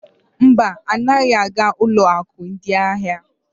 Mba, anaghị aga ụlọ akụ ndị ahịa.